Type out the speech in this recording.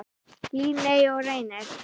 Líney og Reynir.